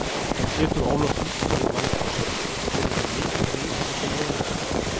Pétur Ólafsson þjálfari Þórsara: Telurðu mikinn ríg milli liðanna tveggja?